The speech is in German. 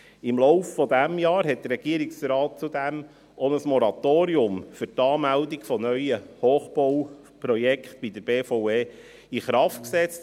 Im Laufe dieses Jahres hat der Regierungsrat zudem auch ein Moratorium für die Anmeldung neuer Hochbauprojekte bei der BVE in Kraft gesetzt.